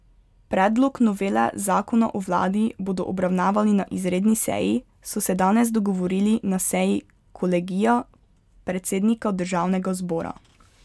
Predlog novele zakona o vladi bodo obravnavali na izredni seji, so se danes dogovorili na seji kolegija predsednika državnega zbora.